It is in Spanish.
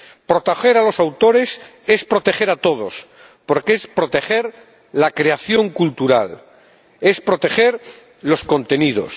Proteger a los autores es proteger a todos, porque es proteger la creación cultural, es proteger los contenidos.